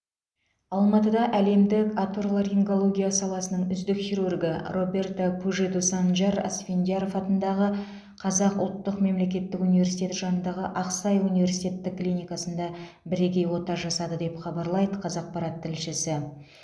алматыда әлемдік оторларингология саласының үздік хирургы роберто пужеду санжар асфендияров атындағы қазақ ұлтық мемлекеттік университеті жанындағы ақсай университеттік клиникасында бірегей ота жасады деп хабарлайды қазақарат тілшісі